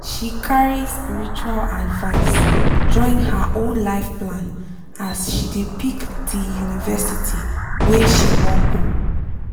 she carry spiritual advice join her own life plan as she dey pick di university wey she wan go